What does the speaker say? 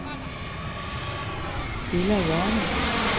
Bilal Jama